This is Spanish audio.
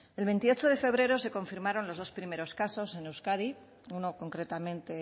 el veintiocho de febrero se confirmaron los dos primeros casos en euskadi uno concretamente